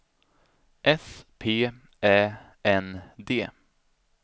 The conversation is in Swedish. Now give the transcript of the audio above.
S P Ä N D